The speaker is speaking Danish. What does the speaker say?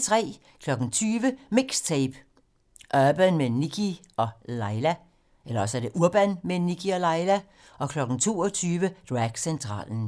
20:00: MIXTAPE - Urban med Nikkie & Laila 22:00: Dragcentralen